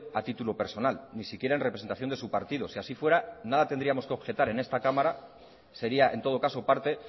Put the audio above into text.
a título personal ni siquiera en representación de su partido si así fuera nada tendríamos que objetar en esta cámara sería en todo caso parte